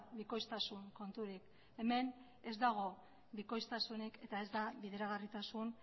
bikoiztasun konturik hemen ez dago bikoiztasunik eta ez da bideragarritasun